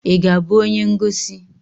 Ị ga-abụ onye ngosi?